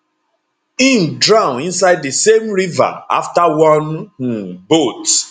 im drown inside di same river afta one um boat